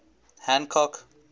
hancock